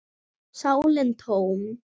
sálin tóm.